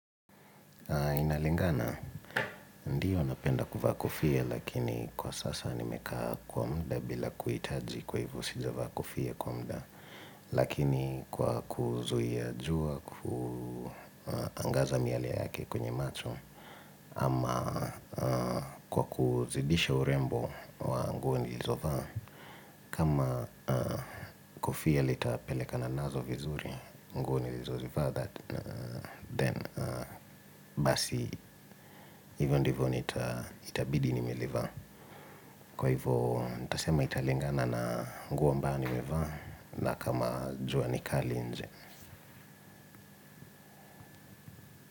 Inalingana, ndio napenda kuva kofia, lakini kwa sasa nimekaa kwa mda bila kuitaji kwa hivyo sija kofia kwa mda, lakini kwa kuzuia jua kuangaza miale yake kwenye macho, ama kwa kuzidisha urembo wa nguo nilizovaa kama kofia litapelekana nazo vizuri kwa kwa kwa hivyo, kwa hivyo, kwa hivyo, kwa hivyo, kwa hivyo, kwa hivyo, kwa hivyo, kwa hivyo, hivyo ndivyo nita itabidi nimelivaa kwa hivyo nitasema italingana na nguo ambayo nimevaa na kama jua ni kali nje kwa kwa.